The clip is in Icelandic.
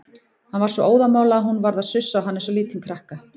Hann var svo óðamála að hún varð að sussa á hann eins og lítinn krakka.